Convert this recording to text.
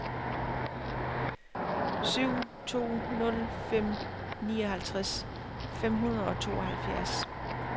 syv to nul fem nioghalvtreds fem hundrede og tooghalvfjerds